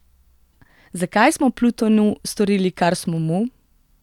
Zakaj smo Plutonu storili, kar smo mu?